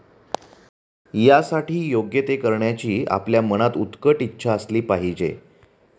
यासाठी योग्य ते करण्याची आपल्या मनात उत्कट इच्छा असली पाहिजे.